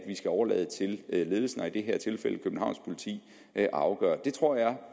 skal overlade til ledelsen i det her tilfælde københavns politi at afgøre det tror jeg